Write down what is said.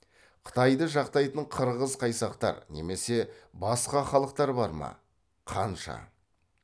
қытайды жақтайтын қырғыз қайсақтар немесе басқа халықтар бар ма қанша